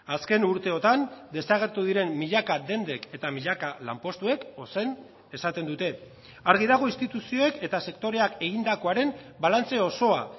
azken urteotan desagertu diren milaka dendek eta milaka lanpostuek ozen esaten dute argi dago instituzioek eta sektoreak egindakoaren balantze osoa